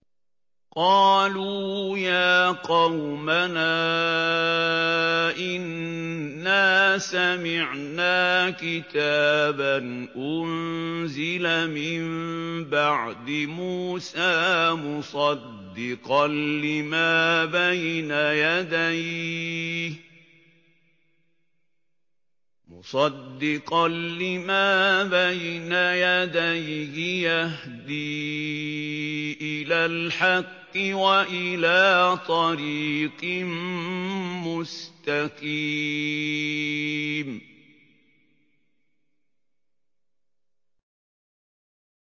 قَالُوا يَا قَوْمَنَا إِنَّا سَمِعْنَا كِتَابًا أُنزِلَ مِن بَعْدِ مُوسَىٰ مُصَدِّقًا لِّمَا بَيْنَ يَدَيْهِ يَهْدِي إِلَى الْحَقِّ وَإِلَىٰ طَرِيقٍ مُّسْتَقِيمٍ